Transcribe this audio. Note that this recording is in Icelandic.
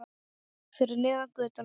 Fyrir neðan götuna.